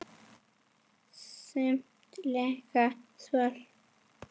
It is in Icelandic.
Samt líka svöng.